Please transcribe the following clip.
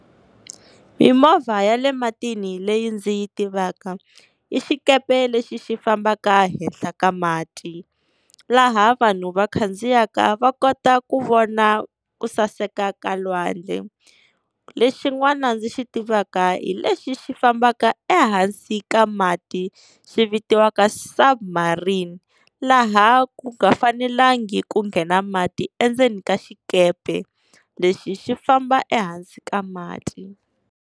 Mimovha ya le matini leyi ndzi yi tivaka i xikepe lexi xi fambaka henhla ka mati, laha vanhu va khandziyaka va kota ku vona ku saseka ka lwandle. Lexin'wana ndzi xi tivaka hi lexi xi fambaka ehansi ka mati xi vitiwaka Sub Marine, laha ku nga fanelangi ku nghena mati endzeni ka xikepe, lexi xi famba ehansi ka mati.